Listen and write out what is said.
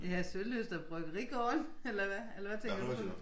Ja Sølyst og Bryggerigården eller hvad eller hvad tænker du på?